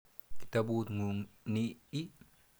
Kitaput ng'ung' ni ii?